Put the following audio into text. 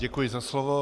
Děkuji za slovo.